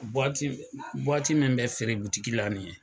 min bɛ feere la nin ye